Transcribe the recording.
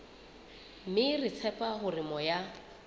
mme re tshepa hore moya